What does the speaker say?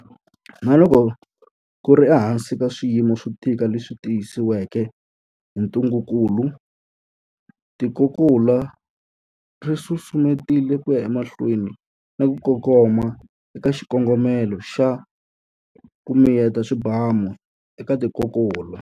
Na loko ku ri ehansi ka swiyimo swo tika leswi tisiweke hi ntungukulu, tikokulu ri susumetile ku ya emahlweni na ku kongoma eka xikongomelo xa 'ku miyeta swibamu' eka tikokulu.